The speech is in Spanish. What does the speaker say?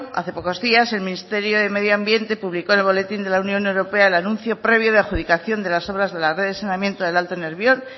hace pocos días el ministerio de medio ambiente publicó en el boletín de la unión europea el anuncio previo de adjudicación de las obras de la red de saneamiento del alto nervión